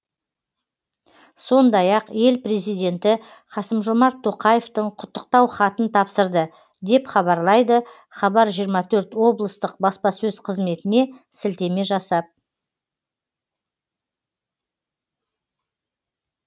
сондай ақ ел президенті қасым жомарт тоқаевтың құттықтау хатын тапсырды деп хабарлайды хабар жиырма төрт облыстың баспасөз қызметіне сілтеме жасап